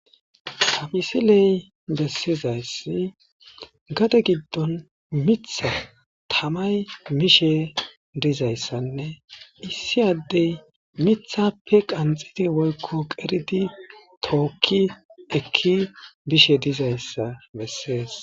Amisiley bessizayssi gade giddon mitha tamay mishe dizayssanne issi addey mithappe qanxidi woykko qeridi tookki ekki bishe dizayssa bessees.